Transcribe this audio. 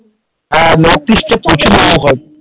হ্যাঁ north east এ প্রচুর মোমো খায় ।